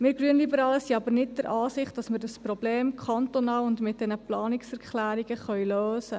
Wir Grünliberale sind aber nicht der Ansicht, dass wir dieses Problem kantonal und mit diesen Planungserklärungen lösen können.